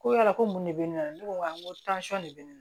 Ko yala ko mun de bɛ ne na ne ko tansɔn de bɛ ne na